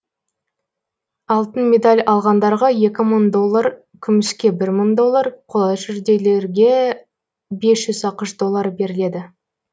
алтын медаль алғандарға екі мың доллар күміске бір мың доллар қола жүлделерге бес жүз ақш доллары беріледі